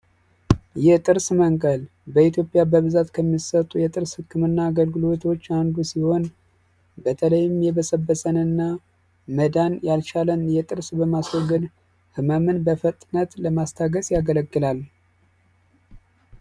የጥርስ መንቀል በኢትዮጵያ ከሚሰጡ የጥርስ ህክምናዎች መካከል አንዱ ሲሆን በተለይም የበሰበሰን እና መዳን ያልቻለን ጥርስ ለማስወገድ፣ ህመምን በፍጥነት ለማስታገስ ያገለግላል።